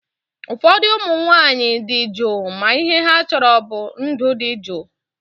Ụfọdụ ụmụ nwaanyị dị juu ma ihe ha chọrọ bụ ndụ dị juu